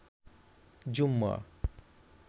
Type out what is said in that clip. জুম্মা